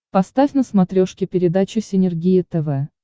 поставь на смотрешке передачу синергия тв